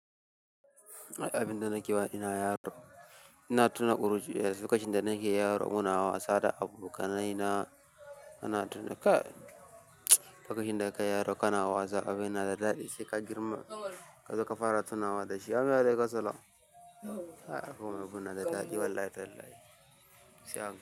Abinda nake tunawa ina yaro, ina tuna ƙuruciya, lokacin da nake yaro muna wasa da abokanaina, ana tuna. Kai, lokacin da kana yaro kana wasa abin na da daɗi sai ka girma kazo zaka fara tunawa dashi. Amin wa'alaikassalam, ah abun abun na da daɗi wallahi tallahi sai a hankali.